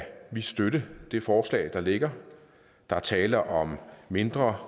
vi støtte det forslag der ligger der er tale om mindre